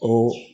O